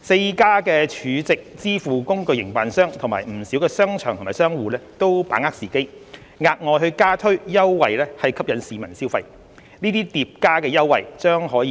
四間儲值支付工具營辦商及不少商場或商戶都把握時機，額外加推優惠吸引市民消費，這些疊加優惠將可